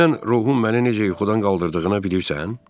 Dünən ruhum məni necə yuxudan qaldırdığını bilirsən?